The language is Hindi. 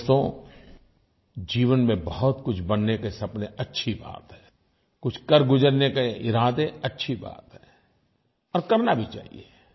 दोस्तो जीवन में बहुतकुछ बनने के सपने अच्छी बात है कुछ कर गुज़रने के इरादे अच्छी बात है और करना भी चाहिये